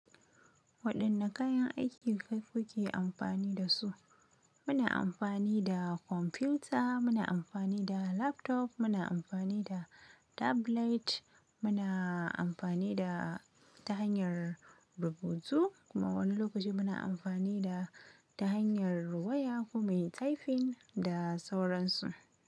Wadan da kayan aiki kai kake amfani da su muna amfani da kwamfuta, muna amfani da laptop, muna amfani da tablet, muna amfani da ta hanyar rubutu kuma wani lokaci muna amfani da ta hanyar waya ko mai taifin da sauransu.